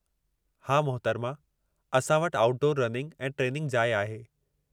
हा, मोहतरमा, असां वटि आउटडोर रनिंग ऐं ट्रेनिंगु जाइ आहे।